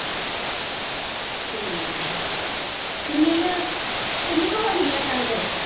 ਠੀਕ ਆ ਕਿੰਨੀ ਕੁ ਕਿੰਨੀ ਕੁ ਹੋ ਗਈ ਆ ਕਣਕ